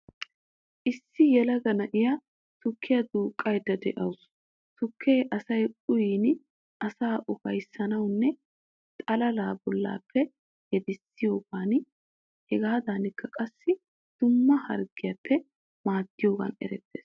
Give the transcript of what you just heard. Issi yelaga na'iya tukkiya duuqqayikka de'awuus. Tukkee asayi uyin asaa ufayssiyogaaninne xalala bollaappe yedissiyogan, hegaadankka qassi dumma harggiyappe maaddiyogan erettees.